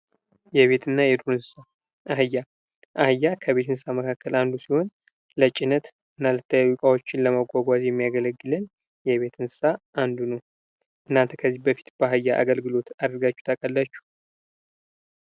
የቤት እና የዱር እንስሳ፤ አህያ አህያ ከቤት እንሥሣቶች አንዱ ሲሆን ለጭነት እና የተለያዩ እቃዎችን ለማጓጓዝ የሚያገለግል የቤት እንስሳ አንዱ ነው። እናንተ ከዚህ በፊት በአህያ አገልግሎት አድርጋቹ ታውቃላቹ?